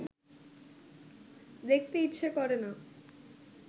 দেখতে ইচ্ছা করে না